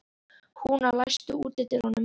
Húna, læstu útidyrunum.